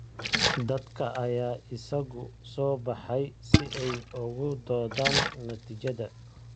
Dadka ayaa isugu soo baxay si ay uga doodaan natiijada.